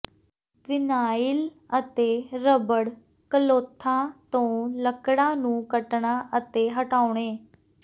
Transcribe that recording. vinyl ਅਤੇ rubber ਕਲੋਥਾਂ ਤੋਂ ਲੱਕੜਾਂ ਨੂੰ ਕੱਟਣਾ ਅਤੇ ਹਟਾਉਣੇ